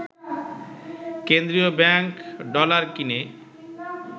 কেন্দ্রীয় bank dollar কিনে